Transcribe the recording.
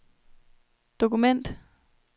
dokument